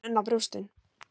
Horfir enn á brjóstin.